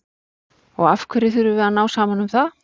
Og af hverju þurfum við að ná saman um það?